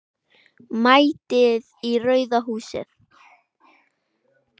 MÆTIÐ Í RAUÐA HÚSIÐ.